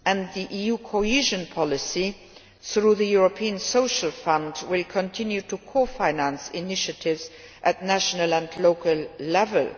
The EU cohesion policy, through the European Social Fund, will continue to cofinance initiatives at national and local level.